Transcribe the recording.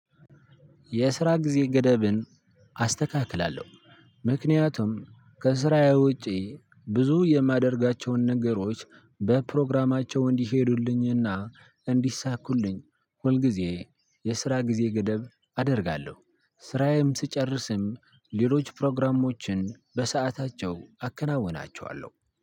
የስራ ጊዜ ገደብን አስተካክላለሁ። ምክንያቱም ከስራዬ ውጪ ብዙ የማደርጋቸውን ነገሮች በፕሮግራማቸው እንዲሄዱልኝና እንዲሳኩልኝ ሁል ጊዜ የስራ ጊዜ ገደብ አደርጋለሁ። ስራዬም ስጨርስም ሌሎች ፕሮግራሞችን በሰአታቸው አከናውናቸዋለሁ